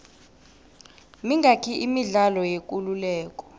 mingaki imidlalo yekuleleko